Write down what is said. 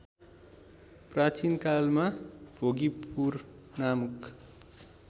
प्राचीनकालमा भोगीपुर नामक